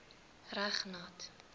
reg nat